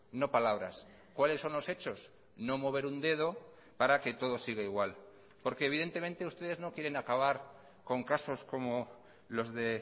no palabras cuáles son los hechos no mover un dedo para que todo siga igual porque evidentemente ustedes no quieren acabar con casos como los de